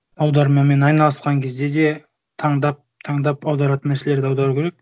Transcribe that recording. аудармамен айналысқан кезде де таңдап таңдап аударатын нәрселерді аудару керек